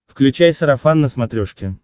включай сарафан на смотрешке